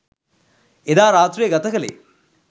එදා රාත්‍රිය ගත කළේ